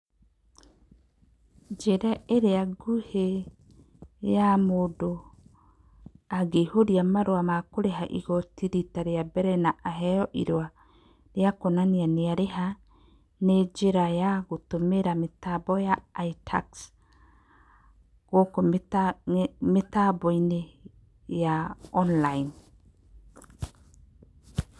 Njĩra ĩrĩa nguhĩ ya mũndũ angĩihũria marũa makũrĩha igoti rita rĩa mbere, na aheyo irũwa rĩa kuonania nĩ arĩha, nĩ njĩra ya gũtũmĩra mĩtambo ya itax, gũkũ mĩ, nge, mĩtambo-inĩ ya online.